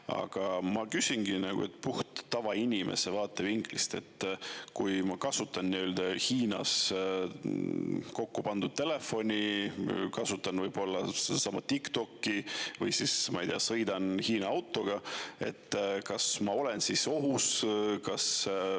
Aga ma küsingi puhtalt tavainimese vaatevinklist: kui ma kasutan Hiinas kokku pandud telefoni, kasutan ka sedasama TikTokki, või ma ei tea, sõidan Hiina autoga, kas ma olen siis ohus?